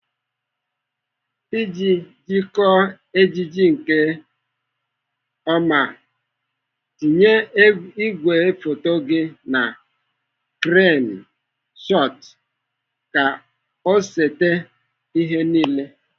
Iji dekọọ ejije nke ọma, tinye ìgwè foto gị na kren shọtụ ka ọ sete ihe niile.